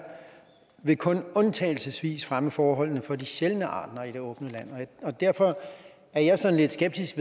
vil kun undtagelsesvis fremme forholdene for de sjældne arter i det åbne land derfor er jeg sådan lidt skeptisk